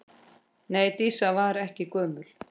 Nei, Dísa var ekki gömul.